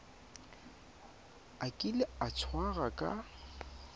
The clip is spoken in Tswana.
a kile a tshwarwa ka